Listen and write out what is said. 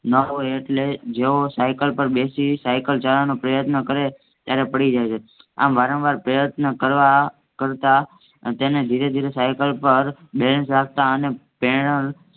ન હોય એટલે જેવો સાયકલ પર બેસી સાયક ચલાવવાનો પ્રયત્ન કરે ત્યારે પડી જાય છે. આમ વારંવાર પ્રયત્ન કરતા તેને ધીરે ધીરે સાયકલ પર બેસી જતા અને પૈદલ